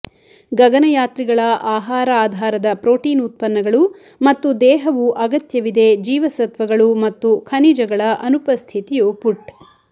ಗಗನಯಾತ್ರಿಗಳ ಆಹಾರ ಆಧಾರದ ಪ್ರೋಟೀನ್ ಉತ್ಪನ್ನಗಳು ಮತ್ತು ದೇಹವು ಅಗತ್ಯವಿದೆ ಜೀವಸತ್ವಗಳು ಮತ್ತು ಖನಿಜಗಳ ಅನುಪಸ್ಥಿತಿಯು ಪುಟ್